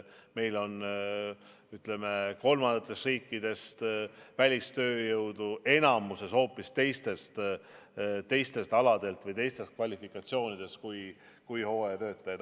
Meil on, ütleme, kolmandatest riikidest välistööjõudu enamikus hoopis teistel aladel või teiste kvalifikatsioonidega kui hooajatöötajad.